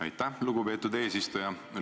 Aitäh, lugupeetud eesistuja!